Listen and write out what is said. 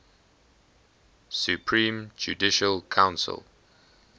supreme judicial council